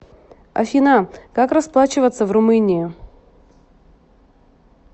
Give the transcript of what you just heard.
афина как расплачиваться в румынии